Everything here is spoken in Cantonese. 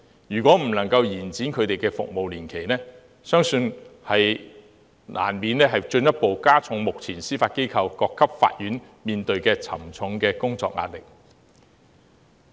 如果不能夠延長他們的服務年期，相信難免會進一步加重目前司法機構各級法院所面對沉重的工作壓力。